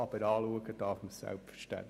Aber hinschauen darf man natürlich.